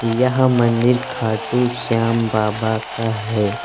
यह मंदिर खाटू श्याम बाबा का है।